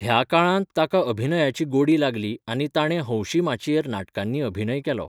ह्या काळांत, ताका अभिनयाची गोडी लागली आनी ताणें हौशी माचयेर नाटकांनी अभिनय केलो.